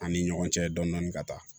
An ni ɲɔgɔn cɛ dɔnidɔni ka taa